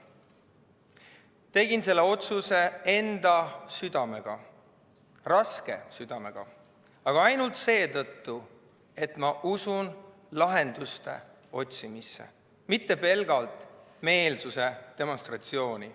Tegin selle otsuse enda südamega, raske südamega, aga ainult seetõttu, et ma usun lahenduste otsimisse, mitte pelgalt meelsuse demonstratsiooni.